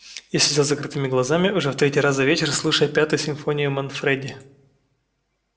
я сидел с закрытыми глазами уже в третий раз за вечер слушая пятую симфонию манфредини